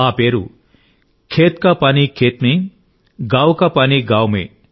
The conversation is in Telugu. ఆ పేరు ఖేత్ కా పానీ ఖేత్ మే గావ్ కా పానీ గావ్ మే